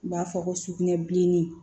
U b'a fɔ ko sugunɛbilennin